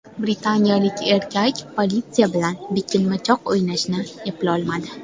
Britaniyalik erkak politsiya bilan bekinmachoq o‘ynashni eplolmadi .